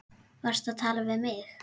Varstu að tala við mig?